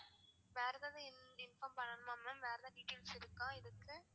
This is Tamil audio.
வேற எதாவது inform பண்ணனுமா ma'am வேற எதாவது details இருக்கா இதுக்கு?